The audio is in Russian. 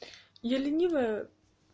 я ленивая